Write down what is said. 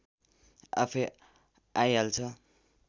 आफैँ आइहाल्छ